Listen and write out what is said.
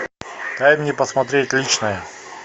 дай мне посмотреть личное